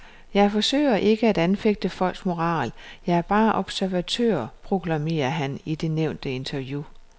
Jeg forsøger ikke at anfægte folks moral, jeg er bare observatør, proklamerer han i det nævnte interview.